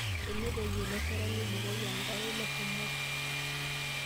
Tenetoyio iloshata nibukoki enkare ilo shumati.